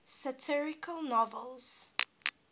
satirical novels